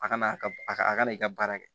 A kana a ka a ka a kana i ka baara kɛ